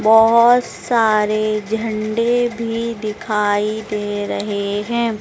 बहोत सारे झंडे भी दिखाई दे रहे हैं।